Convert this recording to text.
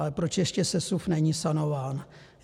Ale proč ještě sesuv není sanován?